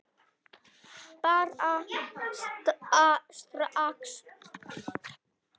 Bara strax.